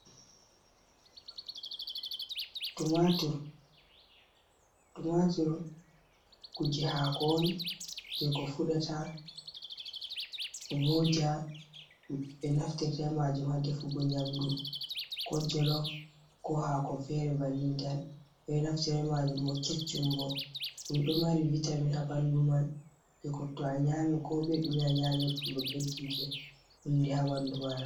Tumatur kuje hako on je ko fuɗata voja ɓe naftira majum ha defugo nyamdu, ko jolof, ko hako fere banni tan ɓeɗo naftira majum bo keccum bo ɗum ɗo mari vitamin ha ɓandu man je kotto a nyami ko be ɗume a nyamirta dum ɓeddinte hundi ha bandu maɗa.